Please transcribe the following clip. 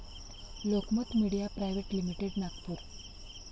Lokmat media private limited., Nagpur